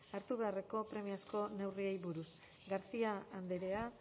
hartu beharreko premiazko neurriei buruz garcia andrea